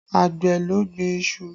Àgbẹ̀ ló gbin iṣu